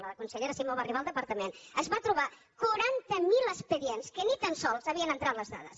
la consellera simó va arribar al departament es va trobar quaranta mil expedients que ni tan sols hi havien entrat les dades